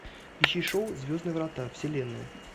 ищи шоу звездные врата вселенная